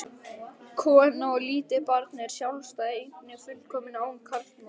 Kona og lítið barn er sjálfstæð eining, fullkomin án karlmanns.